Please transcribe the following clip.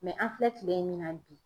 an filɛ kile min na bi